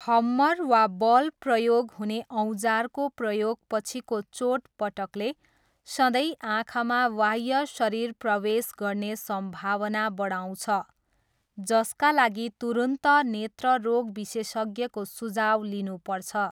हम्मर वा बल प्रयोग हुने औजारको प्रयोग पछिको चोटपटकले सधैँ आँखामा वाह्य शरीर प्रवेश गर्ने सम्भावना बढाउँछ, जसका लागि तुरुन्त नेत्र रोग विशेषज्ञको सुझाउ लिनुपर्छ।